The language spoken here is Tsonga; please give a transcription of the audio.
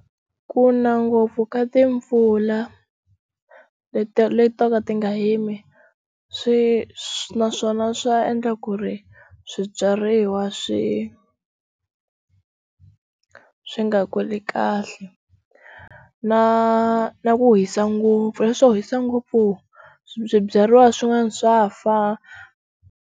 Ku na ngopfu ka timpfula leta letaka ti nga yimi swi swi naswona swa endla ku ri swibyariwa swi swi nga kuli kahle na na ku hisa ngopfu leswo hisa ngopfu swibyariwa swin'wanyani swa fa.